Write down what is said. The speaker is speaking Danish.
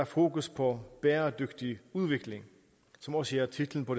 fokus på bæredygtig udvikling som også er titlen på